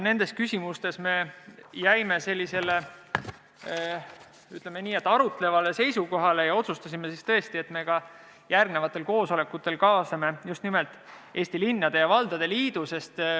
Nendes küsimustes me jäime, ütleme, arutlevale seisukohale ja otsustasime, et me ka järgnevatel koosolekutel kaasame Eesti Linnade ja Valdade Liidu.